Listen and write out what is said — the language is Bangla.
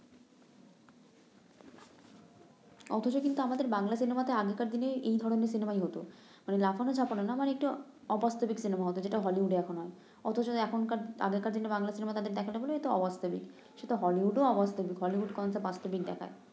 অথচ কিন্তু আমাদের বাংলা সিনেমাতে আগেরকার দিনে এই ধরনের সিনেমাই হতো মানে লাফানো ঝাপানো না মানে একটু অবাস্তবিক সিনেমা হতো যেটা হলিউডে এখন হয় অথচ এখনকার আগেরকার দিনে বাংলা সিনেমা তাদের দেখাতে বললে এটা অবাস্তবিক সেতো হলিউডেও অবাস্তবিক হলিউড ও অবাস্তবিক দেখায়